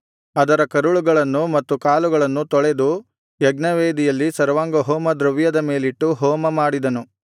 ಅದರ ಕರುಳುಗಳನ್ನು ಮತ್ತು ಕಾಲುಗಳನ್ನು ತೊಳೆದು ಯಜ್ಞವೇದಿಯಲ್ಲಿ ಸರ್ವಾಂಗಹೋಮದ್ರವ್ಯದ ಮೇಲಿಟ್ಟು ಹೋಮಮಾಡಿದನು